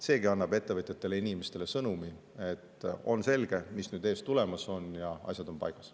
Seegi annab ettevõtjatele ja inimestele sõnumi, et on selge, mis nüüd ees ootamas on, ja asjad on paigas.